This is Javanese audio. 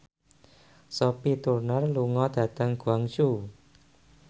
Sophie Turner lunga dhateng Guangzhou